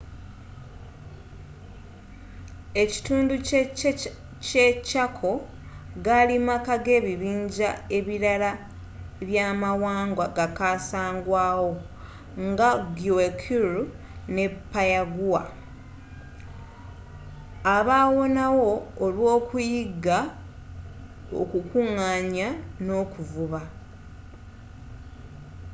ekitundu ky’e chaco gaali maka g’ebibinja ebirala by’amawanga gakasangwaawo nga guaycurú ne payaguá abawonawo olw’okuyigga okukungaanya n’okuvuba